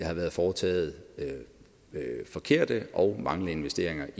har været foretaget forkerte og manglende investeringer